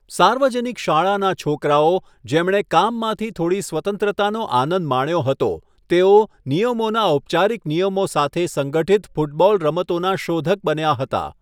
સાર્વજનિક શાળાના છોકરાઓ, જેમણે કામમાંથી થોડી સ્વતંત્રતાનો આનંદ માણ્યો હતો, તેઓ નિયમોના ઔપચારિક નિયમો સાથે સંગઠિત ફૂટબોલ રમતોના શોધક બન્યા હતા.